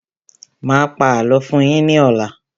Mà á pa àlọ́ fún yín ní ọ̀la.